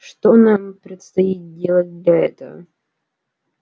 что нам предстоит делать для этого